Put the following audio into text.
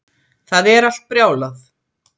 Það er allt brjálað